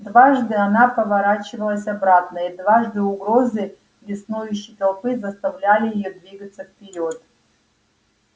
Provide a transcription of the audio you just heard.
дважды она поворачивалась обратно и дважды угрозы беснующей толпы заставляли её двигаться вперёд